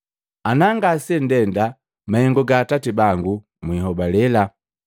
Ana ngasendenda mahengu ga Atati bangu mwinhobalela.